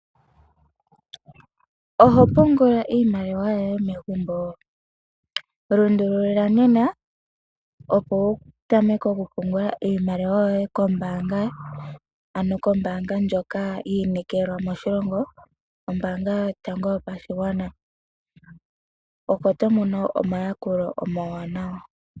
Ohopungula iimaliwa yoye megumbo? lundulula nena opo wu tameke oku pungula iimaliwa kombaanga ano kombaanga ndjoka yi inekelwa moshilongo ombaanga yotango yopashigwana opo tomono omayakulo omawanawa.